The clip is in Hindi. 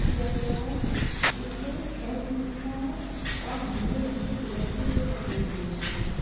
किया गया है इसमें छे सीढियाँ है और नीले रंग के पिलर से इसे सपोर्ट दिया गया है।